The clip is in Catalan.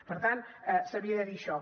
per tant s’havia de dir això